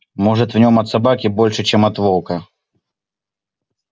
может в нём от собаки больше чем от волка